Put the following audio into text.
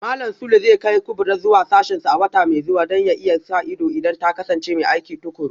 Malam Sule zai kai Kubrat zuwa sashensa a wata mai zuwa Don ya iya sa ido idan ta kasance mai aiki tukuru